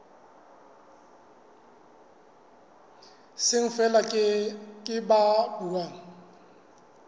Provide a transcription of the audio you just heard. seng feela ke ba buang